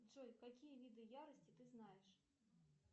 джой какие виды ярости ты знаешь